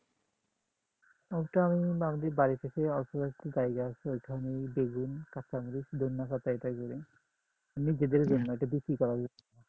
ওইটা আমি বাড়ির পাশে অল্প একটু জায়গা আছে ওইখানে বেগুন, কাঁচা মরিচ, ধইন্যা পাতা, এইটা করি এমনি নিজেদের জন্য, বিক্রি করার